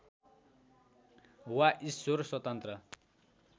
वा ईश्वर स्वतन्त्र